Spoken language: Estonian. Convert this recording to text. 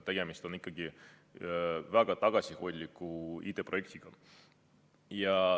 Tegemist on ikkagi väga tagasihoidliku IT-projektiga.